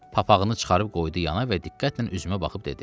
Papağını çıxarıb qoydu yana və diqqətlə üzümə baxıb dedi: